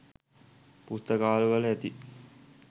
පුස්තකාලවල ඇති.